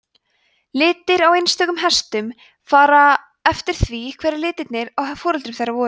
litir á einstökum hestum fara eftir því hverjir litirnir á foreldrum þeirra voru